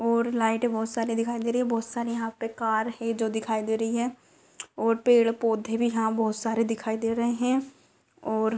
ओर लाइटे बहुत सारी दिखाई दे रही है। बहुत सारी यहां पर कार हे जो दिखाई दे रही है और पेड़-पौधे भी यहां बहुत सारे दिखाई दे रहे हैं और --